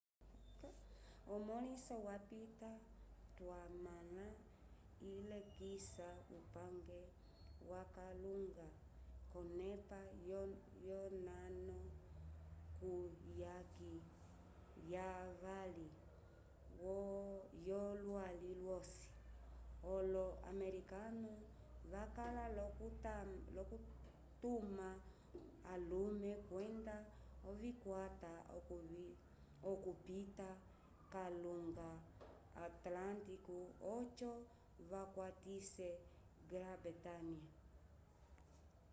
emõliso lyapita twamõla ilekisa upange wokalunga k'onepa yonano kuyaki yavali yolwali lwosi olo-americano vakala l'okutuma alume kwenda ovikwata okupita kalunga atlântico oco vakwatise grã-bretanha